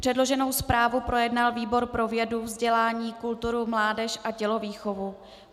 Předloženou zprávu projednal výbor pro vědu, vzdělání, kulturu, mládež a tělovýchovu.